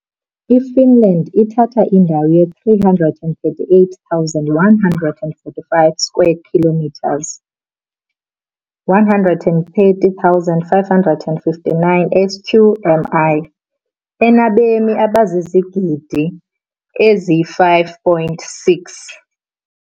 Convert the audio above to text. IFinland ithatha indawo ye-338,145 square kilometers, 130,559 sq mi, enabemi abazizigidi ezi-5.6.